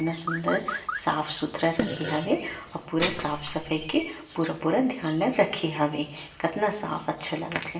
कतना सुन्दर साफ-सुथरा रखे हावे आऊ पूरा साफ-सफाई के पूरा-पूरा ध्यान ल रखे हावे कतना साफ अच्छा लगत हे।